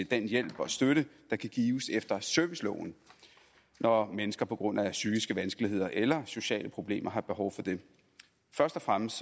den hjælp og støtte der kan gives efter serviceloven når mennesker på grund af psykiske vanskeligheder eller sociale problemer har behov for det først og fremmest